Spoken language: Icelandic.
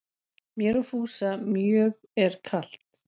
Mér og Fúsa mjög er kalt